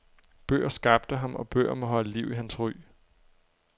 Bøger skabte ham og bøger må holde liv i hans ry.